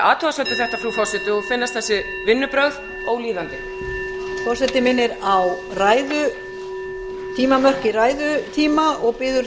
athugasemd við þetta frú forseti og finnast þessi vinnubrögð ólíðandi forseti minnir á ræðumörk í ræðutíma og biður háttvirtir þingmenn að virða þau tímamörk